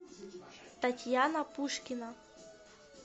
татьяна пушкина